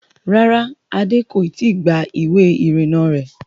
Rárá, Adé kò i tí gba ìwé ìrìnnà rẹ̀